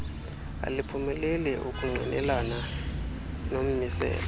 aliphumeleli ukungqinelana nommiselo